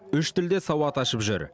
үш тілде сауат ашып жүр